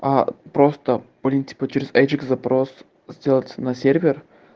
а просто блин типа через эджект запрос сделать на сервер